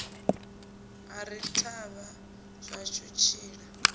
ari ḓi thavha zwashu tshiḽa